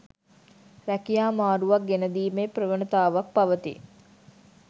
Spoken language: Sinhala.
රැකියා මාරුවක් ගෙනදීමේ ප්‍රවණතාවක් පවතී.